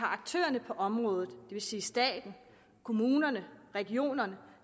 aktørerne på området vil sige staten kommunerne regionerne